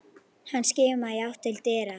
Hann skimaði í átt til dyra.